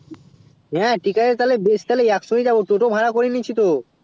হেঁ ঠিক আছে তালে বেশ তালে এক সংগে ই যাবো টোটো ভাড়া করে নিচ্ছি তো